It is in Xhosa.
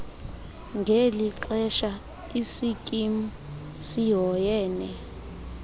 ngelixesha isikimu sihoyene